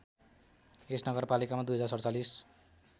यस नगरपालिकामा २०४७